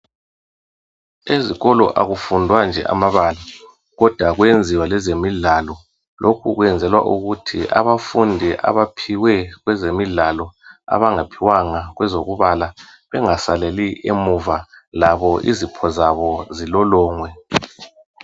Ezikolo akufundwa nje amabala kodwa kuyenziwa lezemidlalo. Lokhu kwenzelwa ukuthi abafundi abaphiwe kwezemidlalo abangaphiwanga kwezokubala bengasaleli emuva labo izipho zabo zilolongwe.